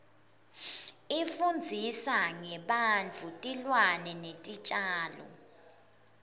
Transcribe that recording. ifundzisa ngebantfu tilwane netitjalo